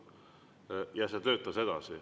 See edasi.